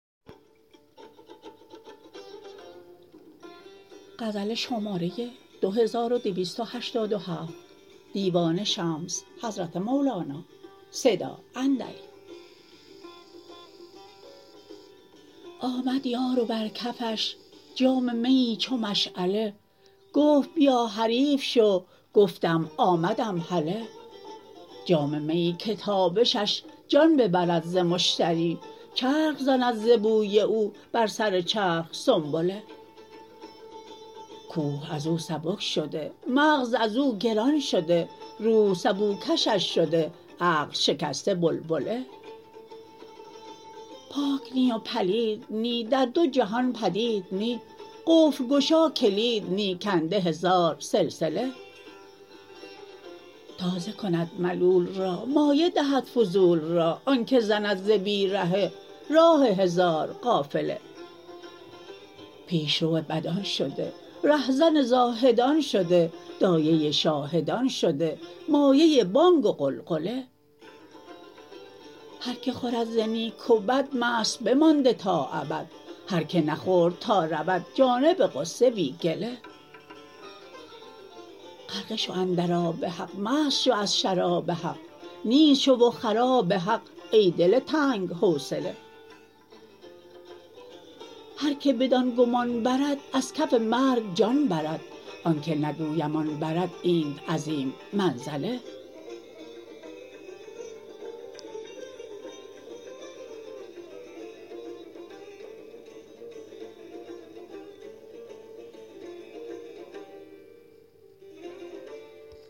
آمد یار و بر کفش جام میی چو مشعله گفت بیا حریف شو گفتم آمدم هله جام میی که تابشش جان ببرد ز مشتری چرخ زند ز بوی او بر سر چرخ سنبله کوه از او سبک شده مغز از او گران شده روح سبوکشش شده عقل شکسته بلبله پاک نی و پلید نی در دو جهان بدید نی قفل گشا کلید نی کنده هزار سلسله تازه کند ملول را مایه دهد فضول را آنک زند ز بی رهه راه هزار قافله پیش رو بدان شده رهزن زاهدان شده دایه شاهدان شده مایه بانگ و غلغله هر کی خورد ز نیک و بد مست بمانده تا ابد هر که نخورد تا رود جانب غصه بی گله غرقه شو اندر آب حق مست شو از شراب حق نیست شو و خراب حق ای دل تنگ حوصله هر کی بدان گمان برد از کف مرگ جان برد آنک نگویم آن برد اینت عظیم منزله